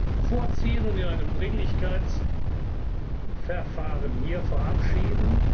Nr. 6 vorziehen und in einem Dringlichkeitsverfahren hier verabschieden.